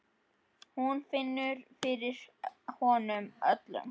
Hún finnur fyrir honum öllum.